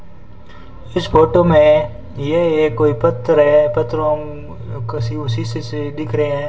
इस फोटो में ये कोई पत्थर है पत्थरों के उसी से दिख रहे हैं।